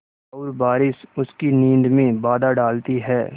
और बारिश उसकी नींद में बाधा डालती है